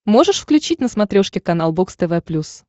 можешь включить на смотрешке канал бокс тв плюс